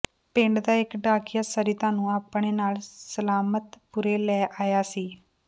ਪਿੰਡ ਦਾ ਇਕ ਡਾਕੀਆ ਸਰਿਤਾ ਨੂੰ ਆਪਣੇ ਨਾਲ ਸਲਾਮਤਪੁਰੇ ਲੈ ਆਇਆ ਸੀ